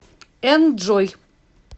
энджой